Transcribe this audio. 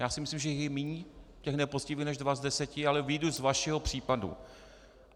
Já si myslím, že je míň těch nepoctivých než dva z deseti, ale vyjdu z vašeho případu.